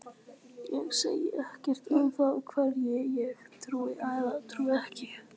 Ég segi ekkert um það hverju ég trúi eða trúi ekki.